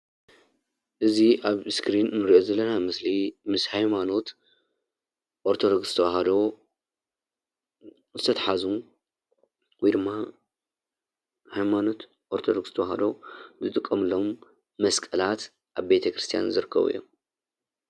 እዚ ኣብ እስክሪን እንሪኦ ዘለና ምስሊ ምስ ሃይማኖት ኦርተዶክስ ተዋህዶ ዝተታሓዙ ወይ ድማ ሃይማኖት ኦርተዶክስ ተዋህዶ ዝጥቀምሎም መስቀላት ኣብ ቤተክርስትያን ዝርከቦ እዮም።